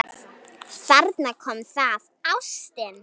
Þarna kom það: Ástin.